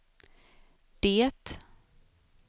det